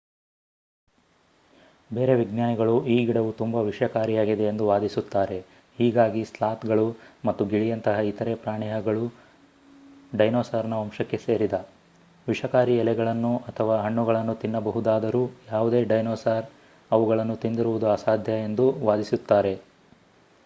ಬೇರೆ ವಿಜ್ಞಾನಿಗಳು ಈ ಗಿಡವು ತುಂಬಾ ವಿಷಕಾರಿಯಾಗಿದೆ ಎಂದು ವಾದಿಸುತ್ತಾರೆ ಹೀಗಾಗಿ ಸ್ಲಾತ್ ಗಳು ಮತ್ತು ಗಿಳಿಯಂತಹ ಇತರೆ ಪ್ರಾಣಿಹಗಳು ಡೈನೋಸಾರ್ ನ ವಂಶಕ್ಕೆ ಸೇರಿದ ವಿಷಕಾರಿ ಎಲೆಗಳನ್ನು ಅಥವಾ ಹಣ್ಣುಗಳನ್ನು ತಿನ್ನಬಹುದಾದರೂ ಯಾವುದೇ ಡೈನೋಸಾರ್ ಅವುಗಳನ್ನು ತಿಂದಿರುವುದು ಅಸಾಧ್ಯ ಎಂದು ವಾದಿಸುತ್ತಾರೆ